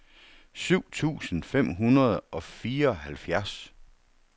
syv tusind fem hundrede og fireoghalvfjerds